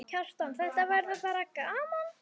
Kjartan: Þetta verður bara gaman?